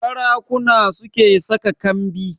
Sarakuna su ke saka kambi